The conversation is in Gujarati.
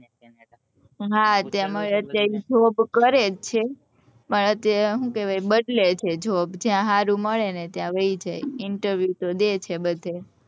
હા job કરે જ છે પણ શું કેવાય બદલે છે job જ્યાં સારું મળે ત્યાં વયે જાય interview તો દે છે બધે